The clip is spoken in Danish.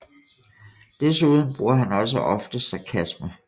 Desuden bruger han også ofte sarkasme